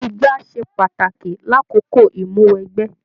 Igbá ṣe pàtàkì l'akoko imuwọ̀ ẹgbẹ.